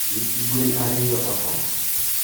Nyithi gwen ariyo otho.